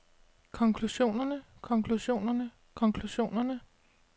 konklusionerne konklusionerne konklusionerne